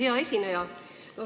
Hea esineja!